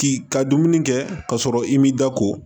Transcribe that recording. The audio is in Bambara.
K'i ka dumuni kɛ ka sɔrɔ i m'i da ko